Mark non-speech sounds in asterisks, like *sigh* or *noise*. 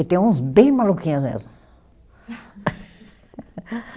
E tem uns bem maluquinhos mesmo. *laughs*